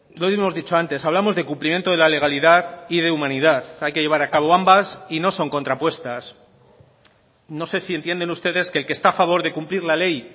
lo hemos dicho antes hablamos de cumplimiento de la legalidad y de humanidad hay que llevar acabo ambas y no son contrapuestas no sé si entienden ustedes que el que está a favor de cumplir la ley